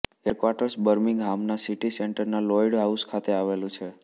headquarters બર્મિંગહામના city સેન્ટરના Lloyd House ખાતે આવેલું છે